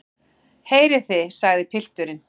Heyrið þið, sagði pilturinn.